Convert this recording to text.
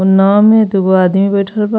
उ नाव में दूगो आदमी बइठल बा।